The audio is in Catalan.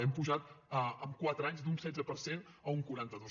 hem pujat en quatre anys d’un setze per cent a un quaranta dos